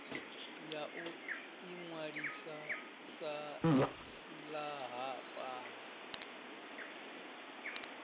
ya u inwalisa sa silahapani